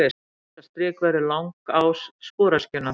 Þetta strik verður langás sporöskjunnar.